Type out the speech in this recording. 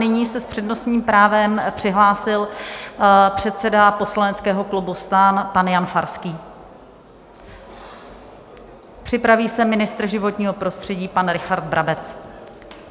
Nyní se s přednostním právem přihlásil předseda poslaneckého klubu STAN pan Jan Farský, připraví se ministr životního prostředí pan Richard Brabec.